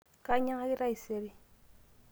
kainyiangaki taisere